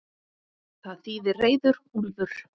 Það þýðir reiður úlfur.